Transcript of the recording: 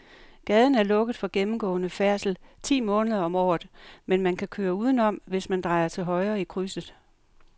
Gaden er lukket for gennemgående færdsel ti måneder om året, men man kan køre udenom, hvis man drejer til højre i krydset.